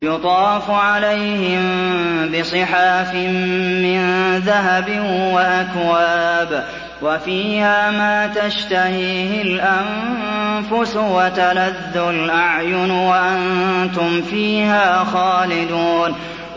يُطَافُ عَلَيْهِم بِصِحَافٍ مِّن ذَهَبٍ وَأَكْوَابٍ ۖ وَفِيهَا مَا تَشْتَهِيهِ الْأَنفُسُ وَتَلَذُّ الْأَعْيُنُ ۖ وَأَنتُمْ فِيهَا خَالِدُونَ